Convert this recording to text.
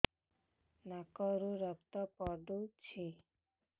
ନାକରୁ ରକ୍ତ ପଡୁଛି